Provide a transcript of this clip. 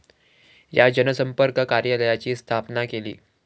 या जनसंपर्क कार्यालयाची स्थापना केली.